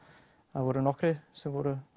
það voru nokkrir sem voru